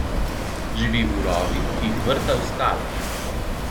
Živi v rovih, ki jih vrta v skalo.